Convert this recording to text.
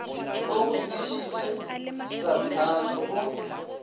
o go lešitše tahlane o